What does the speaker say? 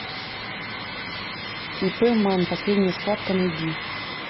ип ман последняя схватка найди